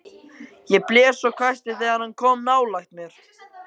Ég blés og hvæsti þegar hann kom nálægt mér.